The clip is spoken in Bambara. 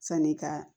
San'i ka